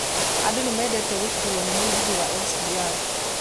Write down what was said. Andu nĩmendete gũkuuo nĩ mũgithi wa SGR